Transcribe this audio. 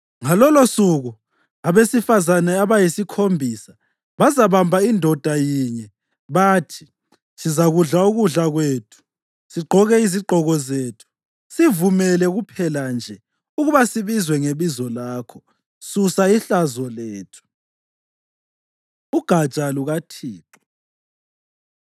Ngalolosuku abesifazane abayisikhombisa bazabamba indoda yinye bathi, “Sizakudla ukudla kwethu sigqoke izigqoko zethu; sivumele kuphela nje ukuba sibizwe ngebizo lakho. Susa ihlazo lethu.” UGatsha LukaThixo